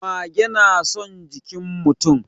Mage na son jikin mutum.